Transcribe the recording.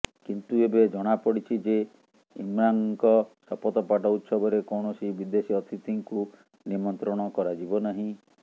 କିନ୍ତୁ ଏବେ ଜଣାପଡ଼ିଛି ଯେ ଇମ୍ରାନ୍ଙ୍କ ଶପଥପାଠ ଉତ୍ସବରେ କୌଣସି ବିଦେଶୀ ଅତିଥିଙ୍କୁ ନିମନ୍ତ୍ରଣ କରାଯିବ ନାହିଁ